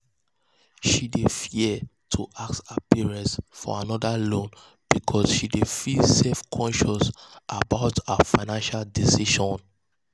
she dey fia to ask her parents for anoda loan because she dey feel self-conscious about her financial decisions.